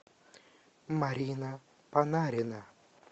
марина панарина